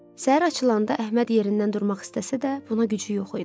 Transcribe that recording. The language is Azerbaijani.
Səhər açılanda Əhməd yerindən durmaq istəsə də, buna gücü yox idi.